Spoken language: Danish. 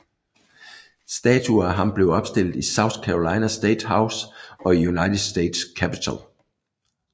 Statuer af ham blev opstillet i South Carolina State House og i United States Capitol